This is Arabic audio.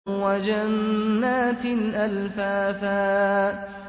وَجَنَّاتٍ أَلْفَافًا